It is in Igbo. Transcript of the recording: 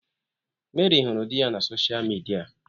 Mary huru di ya na soshal midia.